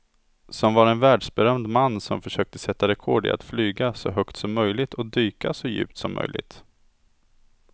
Som var en världsberömd man som försökte sätta rekord i att flyga så högt som möjligt och dyka så djupt som möjligt.